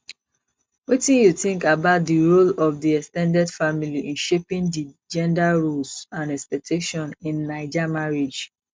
wetin you think about di role of di ex ten ded family in shaping di gender roles and expectations in naija marriage